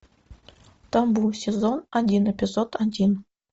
табу сезон один эпизод один